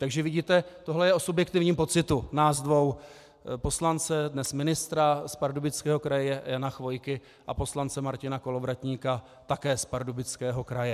Takže vidíte, tohle je o subjektivním pocitu nás dvou - poslance, dnes ministra z Pardubického kraje Jana Chvojky, a poslance Martina Kolovratníka také z Pardubického kraje.